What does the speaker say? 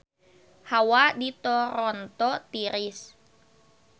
Hawa di Toronto tiris